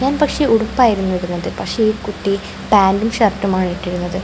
ഞാൻ പക്ഷേ ഉടുപ്പായിരുന്നു ഇടുന്നത് പക്ഷേ ഈ കുട്ടി പാന്റും ഷർട്ടും ആണ് ഇട്ടിരുന്നത്.